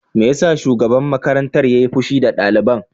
Me yasa shugaban makarantar yayi fushi da daliban?